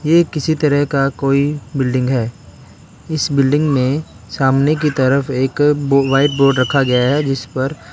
ये किसी तरह का कोई बिल्डिंग है इस बिल्डिंग में सामने की तरफ एक व्हाइट बोर्ड रखा गया है जिस पर --